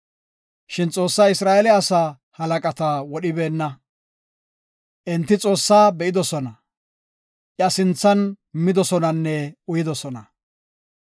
Shin Xoossay Isra7eele asaa halaqata wodhibeenna. Enti Xoossaa be7idosona; iya sinthan midosonanne uyidosona.